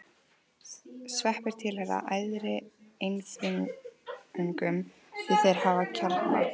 Sveppir tilheyra æðri einfrumungum því þeir hafa kjarna.